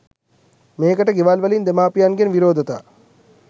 මේකට ගෙවල් වලින් දෙමාපියන්ගෙන් විරෝධතා